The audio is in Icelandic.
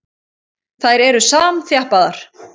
Þær eru samþjappaðar.